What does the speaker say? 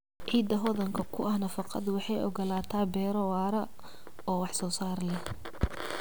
Ciidda hodanka ku ah nafaqadu waxay ogolaataa beero waara oo wax soo saar leh.